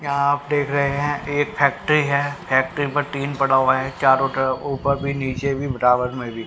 यहां आप देख रहे हैं एक फैक्ट्री है फैक्ट्री पर टीन पड़ा हुआ है चारों तरफ ऊपर भी नीचे भी बराबर में भी--